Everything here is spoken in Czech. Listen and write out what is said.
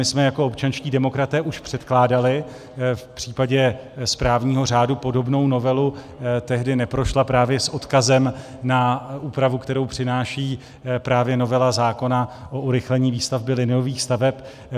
My jsme jako občanští demokraté už předkládali v případě správního řádu podobnou novelu, tehdy neprošla právě s odkazem na úpravu, kterou přináší právě novela zákona o urychlení výstavby liniových staveb.